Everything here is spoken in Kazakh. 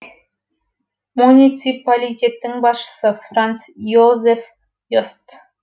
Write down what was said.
муниципалитеттің басшысы франц йозеф йост